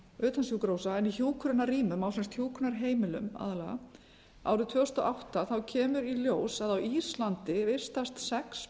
utan sjúkrahúsa en í hjúkrunarrýmum á hjúkrunarheimilum aðallega árið tvö þúsund og átta kemur í ljós að á íslandi vistast sex